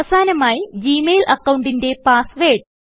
അവസാനമായി Gmail അക്കൌണ്ടിന്റെ password